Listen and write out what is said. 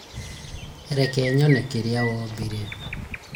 Reke nyone kĩrĩa wombire?